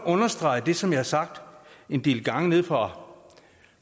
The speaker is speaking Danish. understrege det som jeg har sagt en del gange nede fra